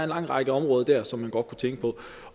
lang række områder dér som man godt kunne tænke på